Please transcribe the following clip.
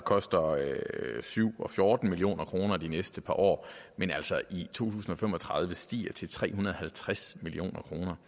koster syv og fjorten million kroner de næste par år men altså i tusind og fem og tredive stiger til tre hundrede og halvtreds million kroner